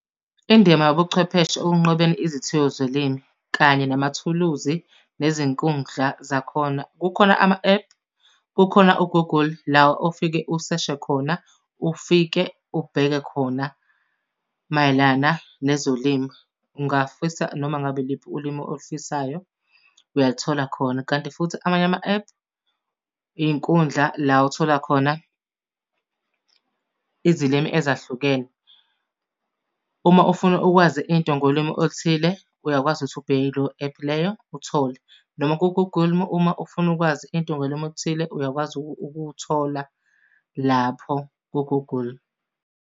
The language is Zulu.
Indima yobuchwepheshe ekunqobeni izithiyo zolimi kanye namathuluzi nezinkundla zakhona. Kukhona ama-ephu, kukhona u-Google la ofike useshe khona ufike ubheke khona mayelana nezolimo. Ungafisa noma ngabe iliphi ulimi olifisayo uyalithola khona. Kanti futhi amanye ama-ephu iy'nkundla la othola khona izilimi ezahlukene. Uma ufuna ukwazi into ngolimi oluthile, uyakwazi ukuthi ubheke kuleyo ephu leyo, uthole. Noma ku-Google uma ufuna ukwazi into ngolimi oluthile uyakwazi ukuthola lapho ku-Google.